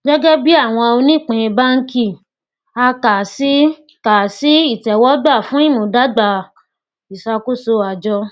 gẹgẹ bí àwọn onípín bánkì a kà á sí kà á sí ìtẹwọgbà fún ìmúdágbà ìṣàkóso àjọ